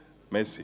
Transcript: Fertig